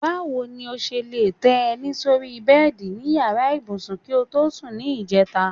Báwo ni o s̩e lè té̩ e̩ní sórí bé̩è̩dì ní yàrá ibùsùn kí o tọ́ sùn ní ìje̩ta?